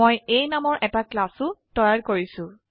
মই A নামৰ এটা ক্লাসও তৈয়াৰ কৰিছো